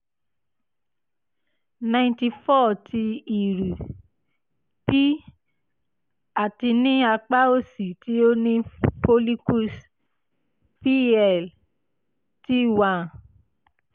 ninety four ti iru - p ati ni apa osi ti o ni follicles pl (t one